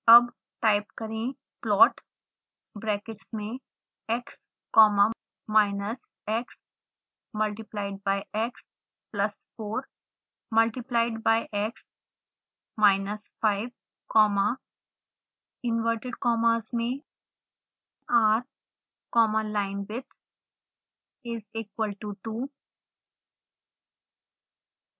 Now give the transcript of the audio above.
अब टाइप करें plot brackets में x comma minus x multiplied by x plus 4 multiplied by x minus 5 comma inverted commas में r comma linewidth is equal to 2